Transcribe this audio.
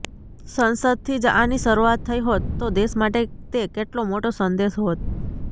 સંસદથી જ આની શરૂઆત થઈ હોત તો દેશ માટે તે કેટલો મોટો સંદેશ હોત